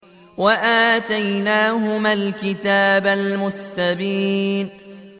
وَآتَيْنَاهُمَا الْكِتَابَ الْمُسْتَبِينَ